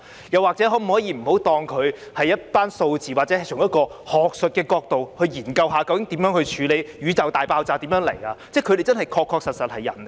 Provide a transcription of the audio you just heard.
又或者，可否不要把他們當成一些數字，或者好像是從學術的角度來研究宇宙大爆炸究竟是怎麼發生？